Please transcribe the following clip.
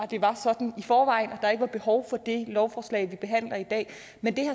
det var sådan i forvejen og der ikke var behov for det lovforslag vi behandler i dag men